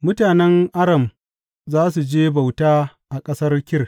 Mutanen Aram za su je bauta a ƙasar Kir,